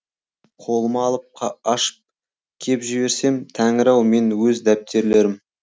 қолыма алып ашып кеп жіберсем тәңір ау менің өз дәптерлерім